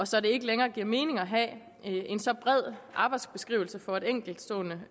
så det ikke længere giver mening at have en så bred arbejdsbeskrivelse for et enkeltstående